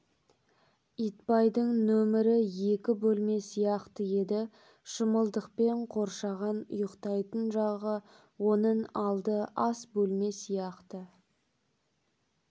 итбайдың нөмері екі бөлме сияқты еді шымылдықпен қоршаған ұйықтайтын жағы оның алды ас бөлме сияқты